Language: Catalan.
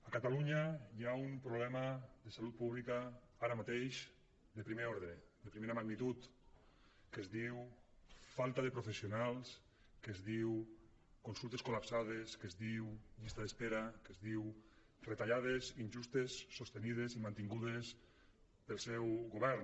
a catalunya hi ha un problema de salut pública ara mateix de primer ordre de primera magnitud que es diu falta de professionals que es diu consultes col·lapsades que es diu llista d’espera que es diu retallades injustes sostingudes i mantingudes pel seu govern